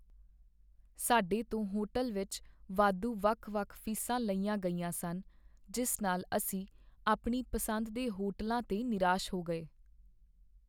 ਸਾਡੇ ਤੋਂ ਹੋਟਲ ਵਿੱਚ ਵਾਧੂ ਵੱਖ ਵੱਖ ਫੀਸਾਂ ਲਈਆਂ ਗਈਆਂ ਸਨ, ਜਿਸ ਨਾਲ ਅਸੀਂ ਆਪਣੀ ਪਸੰਦ ਦੇ ਹੋਟਲਾਂ 'ਤੇ ਨਿਰਾਸ਼ ਹੋ ਗਏ